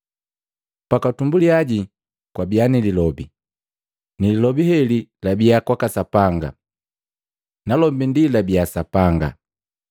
Pakwatumbuliya kwabiya ni Lilobi, ni lilobi heli labiya kwaka Sapanga nalombi ndi labiya Sapanga.